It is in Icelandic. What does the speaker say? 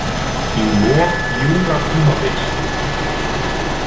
Í lok Júratímabils.